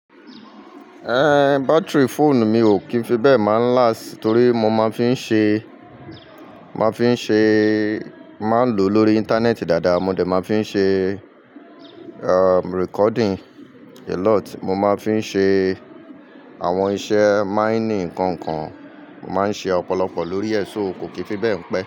Báttery fóònù mi ò kì í fi bẹ́ẹ̀ máa ń last, torí mo máa ń fí ṣe, máa ń fi ṣe, máa ń lò lórí íńtánẹ́ẹ̀tì dáadáa, mo dẹ̀ máa ń fi ṣe, recording a lot, mo máa fi ṣe àwọn iṣẹ́ mining nkan kan, mo máa ń ṣe ọ̀pọ̀lọpọ̀ lórí ẹ̀ so, ko kì í fi bẹ́ẹ̀ pẹ́